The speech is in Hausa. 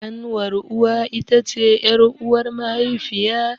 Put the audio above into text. Ƙanwar uwa it ce ƴar'uwar mahaifiya.